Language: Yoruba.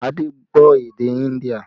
Adé gbọ́ èdè India